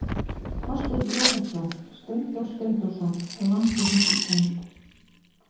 Þorsteinn Jósepsson, Steindór Steindórsson, Landið þitt Ísland.